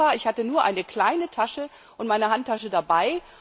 ich hatte nur eine kleine Tasche und meine Handtasche dabei.